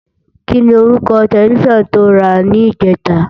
Kini órúkò tèlèfisán tó rá nijètá?